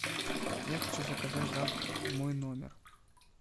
я хочу заказать завтрак в мой номер